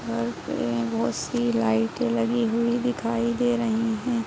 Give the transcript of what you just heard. घर पे बहुत-सी लाइटें लगी हुई दिखाई दे रही हैं।